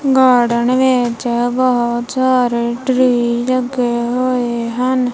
Garden ਵਿਚ ਬੋਹਤ ਸਾਰੇ ਟ੍ਰੀ ਲੱਗੇ ਹੋਏ ਹਨ।